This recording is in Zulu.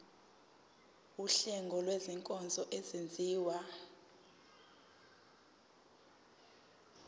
wuhlengo lwezinkonzo ezenziwa